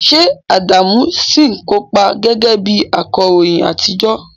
Ṣé Adamu ṣì ń kópa gẹ́gẹ́ bí akọ̀ròyìn àtijọ́?